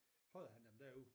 Prøvede han dem derude